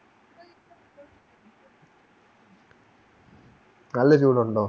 നല്ല ചൂടുണ്ടോ